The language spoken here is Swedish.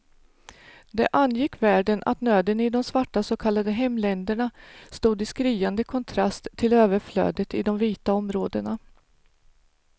Det angick världen att nöden i de svarta så kallade hemländerna stod i skriande kontrast till överflödet i de vita områdena.